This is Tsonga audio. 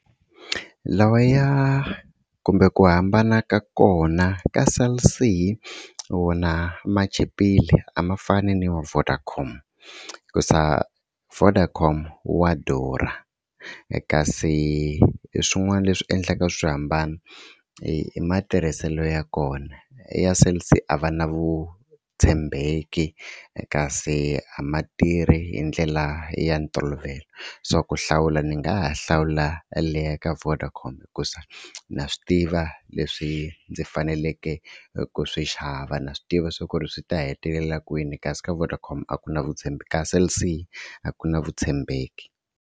Lawaya kumbe ku hambana ka kona ka Cell_C wona ma chipile a ma fani ni ma Vodacom hikusa Vodacom wa durha kasi swin'wana leswi endlaka swi hambana i matirhiselo ya kona ya Cell_C a va na vutshembeki kasi a ma tirhi hi ndlela ya ntolovelo swa ku hlawula ni nga ha hlawula leyi ya ka Vodacom hikusa na swi tiva leswi ndzi faneleke ku swi xava na swi tiva swa ku ri swi ta hetelela kwini kasi ka Vodacom a ku na ka Cell c a ku na vutshembeki.